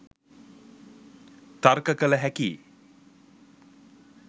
තර්ක කල හැකියි.